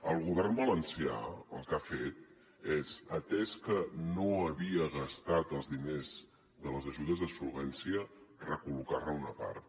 el govern valencià el que ha fet és atès que no havia gastat els diners de les ajudes de solvència recol·locar ne una part